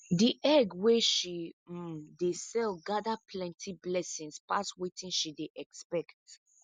the egg wey she um dey sell gather plenty blessings pass wetin she dey expect